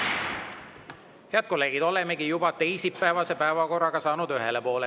Head kolleegid, olemegi teisipäevase päevakorraga saanud ühele poole.